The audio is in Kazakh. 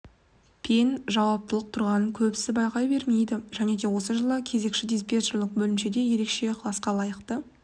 пен жауаптылық тұрғанын көбісі байқай бермейді және де осы жолы кезекші-диспетчерлік бөлімшесіне ерекше ықыласқа лайықты